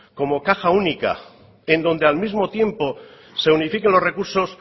como caja única en donde al mismo tiempo se unifiquen los recursos